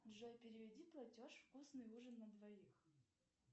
джой переведи платеж вкусный ужин на двоих